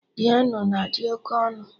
Piano na-adị oké ọnụ